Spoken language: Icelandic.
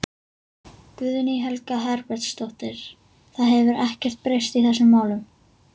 Guðný Helga Herbertsdóttir: Það hefur ekkert breyst í þessum málum?